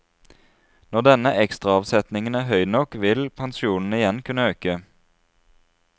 Når denne ekstraavsetningen er høy nok, vil pensjonene igjen kunne øke.